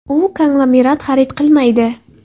U konglomerat xarid qilmaydi.